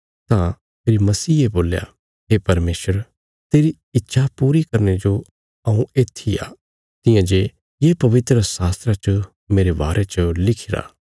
तां फेरी मसीह ने बोल्या हे परमेशर तेरी इच्छा पूरी करने जो हऊँ येत्थी आ तियां जे ये पवित्रशास्त्रा च मेरे बारे च लिखिरा